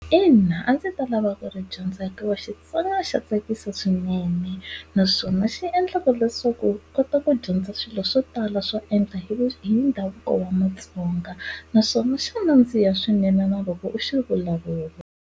Ina a ndzi ta lava ku ri dyondza hikuva xitsonga xa tsakisa swinene, naswona xi endla leswaku u kota ku dyondza swilo swo tala swo endla hi hi ndhavuko wa matsonga. Naswona xa nandziha swinene na loko u xi vulavula.